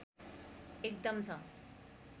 एकदम छ